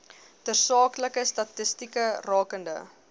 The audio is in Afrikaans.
tersaaklike statistieke rakende